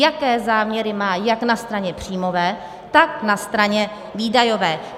Jaké záměry má jak na straně příjmové, tak na straně výdajové.